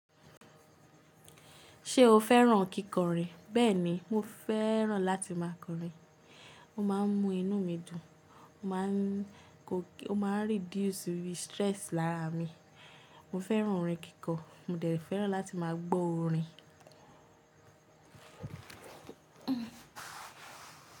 Ṣé o fẹ́ràn kíkọrin? Bẹ́ẹ̀ni, mo fẹ́ràn láti ma kọrin. Ó máa ń mú inú mi dùn. Ó ń máa n Ó máa ń reduce stress lára mi. Mo fẹ́ràn orin kíkọ. Mo dẹ̀ẹ́ fẹ́ràn láti máa gbó orin.